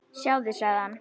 Sjáðu, sagði hann.